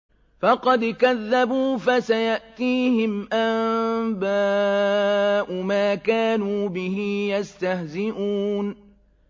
فَقَدْ كَذَّبُوا فَسَيَأْتِيهِمْ أَنبَاءُ مَا كَانُوا بِهِ يَسْتَهْزِئُونَ